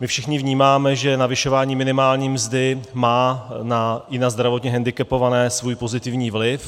My všichni vnímáme, že navyšování minimální mzdy má i na zdravotně hendikepované svůj pozitivní vliv.